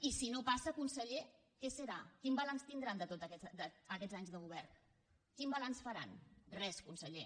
i si no passa conseller què serà quin balanç tindran de tots aquests anys de govern quin balanç faran res conseller